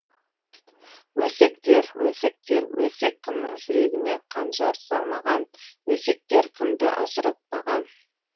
өсектер өсектер өсек кімнің жүрегіне қанжар салмаған өсектер кімді ажыратпаған